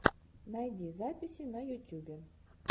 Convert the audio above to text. найди записи на ютюбе